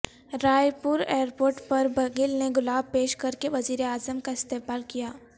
رائے airport پربگھیل نے گلاب پیش کرکے وزیر اعظم کااستقبال کیا